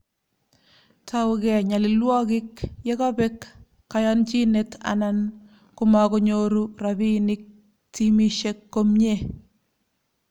Tougei nyalilwogik ye kobek kayonchinet anan komakonyoru rabiinik timisiek komye